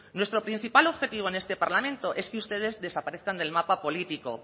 nuestro principal objetivo en este parlamento es que ustedes desparezcan del mapa político